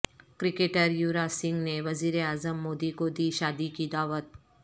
cricketer Yuvraj Singh نے وزیر اعظم مودی کو دی شادی کی دعوت